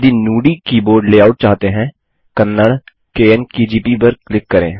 यदि Nudi keyboard layout चाहते हैं कन्नड़ा - कोन केजीपी पर क्लिक करें